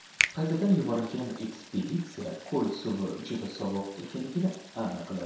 Qaytadan yuborilgan ekspeditsiya ko‘l suvi juda sovuq ekanligini aniqladi.